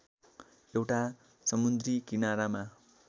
एउटा समुन्द्री किनारमा